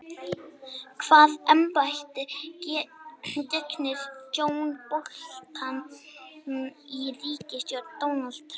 Hvaða embætti gegnir John Bolton í ríkisstjórn Donalds Trump?